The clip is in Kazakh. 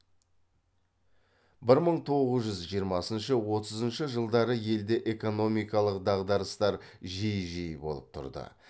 бір мың тоғыз жүз жиырмасыншы отызыншы жылдары елде экономикалық дағдарыстар жиі жиі болып тұрды